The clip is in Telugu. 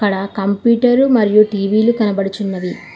ఇక్కడ కంప్యూటర్ మరియు టీ_వీలు కనబడుచున్నవి.